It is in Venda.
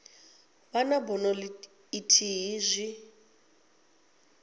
vha na bono ithihi zwi